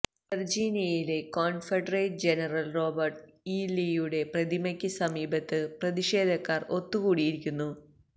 വെര്ജിനിയയിലെ confederate general Robert E ലീയുടെ പ്രതിമയ്ക്ക് സമീപത്ത് പ്രതിഷേധക്കാര് ഒത്തുകൂടിയിരിക്കുന്നു